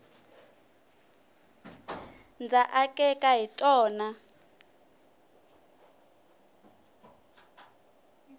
ndza akeka hi tona